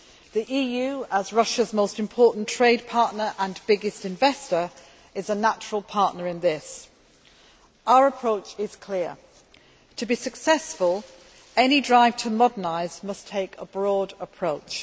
The EU as Russia's most important trade partner and biggest investor is a natural partner in this. Our approach is clear to be successful, any drive to modernise must take a broad approach.